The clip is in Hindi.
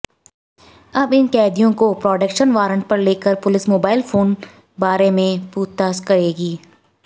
अब इन कैदियों को प्रोडक्शन वारंट पर लेकर पुलिस मोबाइल फोन बारे पूछताछ करेगी